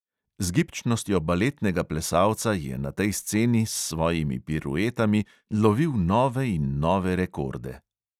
Z gibčnostjo baletnega plesalca je na tej sceni s svojimi piruetami lovil nove in nove rekorde.